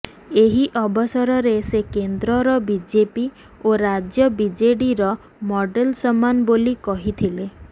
ଏହି ଅବସରରେ ସେ କେନ୍ଦ୍ରର ବିଜେପି ଓ ରାଜ୍ୟ ବିଜେଡିର ମଡେଲ ସମାନ େବାଲି କହିଥିଲେ